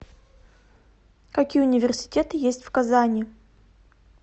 какие университеты есть в казани